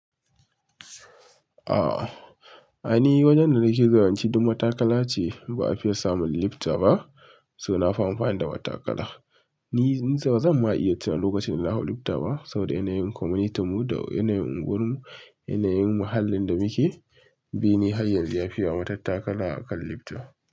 Ah, ai ni wajen da nake zuwan ci duk matakala ce, ba a fiye samun lifta ba, suna amfani da wata kala. Ni in ce bazan ma iya tunanin lokacin da na hawo lifta ba saboda yanayin community mu da yanayin unguwar mu, yanayin muhallin da muke bi ne hanyar da ya fiya wa matan takala a kan lifta.